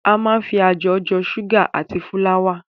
A máa ń fi ajọ̀ jọ ṣúgà àti fúláwà.